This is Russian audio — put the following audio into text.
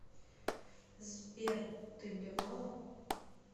сбер ты блевала